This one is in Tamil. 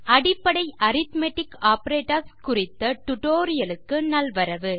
அடிப்படை அரித்மெட்டிக் ஆப்பரேட்டர்ஸ் குறித்த டியூட்டோரியல் க்கு நல்வரவு